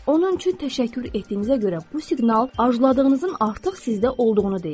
Onun üçün təşəkkür etdiyinizə görə bu siqnal arzuladığınızın artıq sizdə olduğunu deyir.